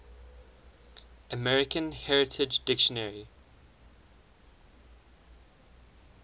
american heritage dictionary